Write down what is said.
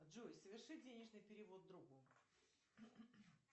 джой соверши денежный перевод другу